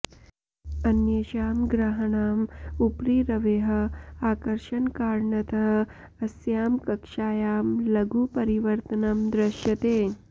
अन्येषां ग्रहाणाम् उपरि रवेः आकर्षणकारणतः अस्यां कक्षायां लघु परिवर्तनं दृश्यते